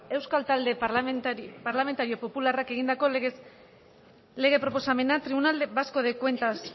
euskal talde parlamentario popularrak egindako lege proposamena tribunal vasco de cuentas